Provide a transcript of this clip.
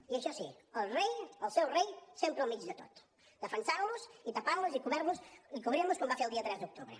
i això sí el rei el seu rei sempre al mig de tot defensant los i tapant los i cobrint los com va fer el dia tres d’octubre